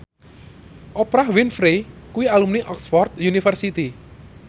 Oprah Winfrey kuwi alumni Oxford university